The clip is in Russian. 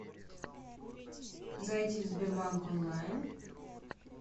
зайди в сбербанк онлайн